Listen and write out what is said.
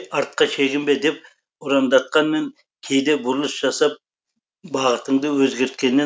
артқа шегінбе деп ұрандатқанмен кейде бұрылыс жасап бағытыңды өзгерткеннен